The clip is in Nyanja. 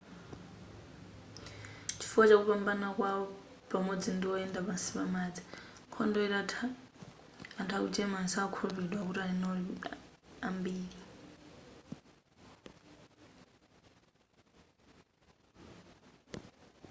chifukwa chakupambana kwawo pamodzi ndi oyenda pansi pamadzi nkhondo itatha anthu aku german sakukhulupilidwa kuti ali nawo ambiri